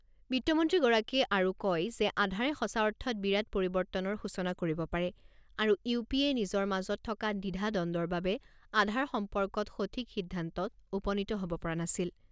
বিত্তমন্ত্ৰীগৰাকীয়ে আৰু কয় যে আধাৰে সঁচা অৰ্থত বিৰাট পৰিৱৰ্তনৰ সূচনা কৰিব পাৰে আৰু ইউ পি এ নিজৰ মাজত থকা দ্বিধা দ্বন্দৰ বাবে আধাৰ সম্পৰ্কত সঠিক সিদ্ধান্ত উপনীত হ'ব পৰা নাছিল।